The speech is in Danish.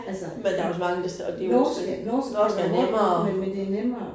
Altså men norsk er norsk kan være hårdt, men men det nemmere